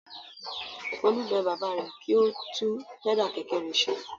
Folú bẹ bàbá rẹ̀ kí ó ba tún pẹ́dà kẹ̀kẹ́ rẹ̀ ṣe.